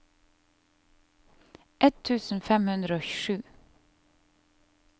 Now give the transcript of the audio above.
ett tusen fem hundre og sju